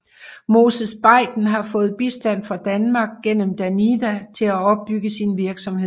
Moses Baiden har fået bistand fra Danmark gennem Danida til at opbygge sin virksomhed